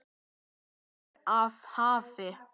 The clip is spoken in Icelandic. Gestur af hafi